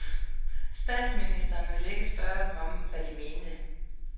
Statsministeren vil ikke spørge dem om, hvad de mente.